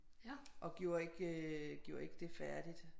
Og gjorde ikke gjorde ikke det færdigt